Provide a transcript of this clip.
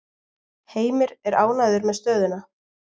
Heimir er ánægður með stöðuna.